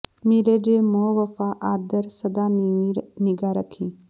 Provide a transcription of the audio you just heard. ਮਿਲੇ ਜੇ ਮੋਹ ਵਫ਼ਾ ਆਦਰ ਸਦਾ ਨੀਵੀਂ ਨਿਗ੍ਹਾ ਰੱਖੀਂ